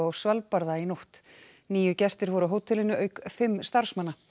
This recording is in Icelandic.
Svalbarða í nótt níu gestir voru á hótelinu auk fimm starfsmanna